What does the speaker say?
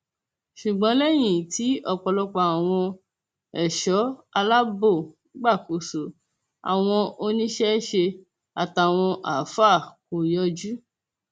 ṣùgbọn lẹyìn tí ọpọlọpọ àwọn ẹṣọ aláàbò gbàkóso àwọn oníṣẹṣe àtàwọn àáfàá kò yọjú